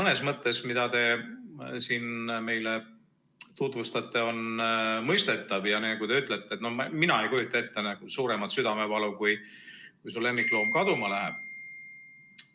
See idee, mida te siin meile tutvustate, on mõistetav ja nagu te ütlete, no mina ei kujuta ette suuremat südamevalu, kui siis, kui su lemmikloom kaduma läheb.